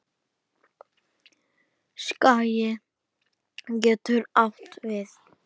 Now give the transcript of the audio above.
Skagi getur átt við